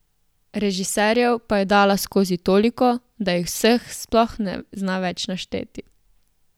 Režiserjev pa je dala skozi toliko, da jih vseh sploh ne zna več našteti.